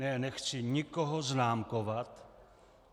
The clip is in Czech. Ne, nechci nikoho známkovat.